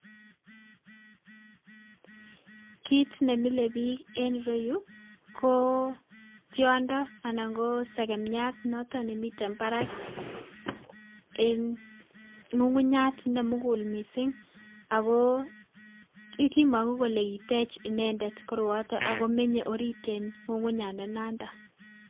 Kiit nemile biik en ireyuu ko tiondo anan ko sekemiat noton nemiten barak en ng'ung'unyat nemukul mising ak ko kimong'u kelee kitech inendet koroyoton ak ko menyee oriit en ng'ung'unyandanandan.